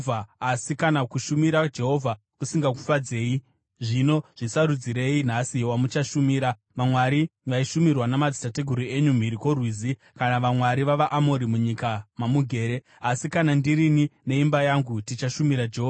Asi kana kushumira Jehovha kusingakufadzei, zvino zvisarudzirei nhasi wamuchashumira, vamwari vaishumirwa namadzitateguru enyu mhiri kwoRwizi kana vamwari vavaAmori, munyika mamugere. Asi kana ndirini neimba yangu tichashumira Jehovha.”